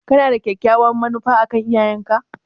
Kana da kyakkyawar manufa a kan iyayenka?